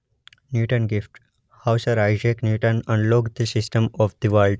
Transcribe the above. Newton's gift how sir Isaac Newton unlock the system of the world.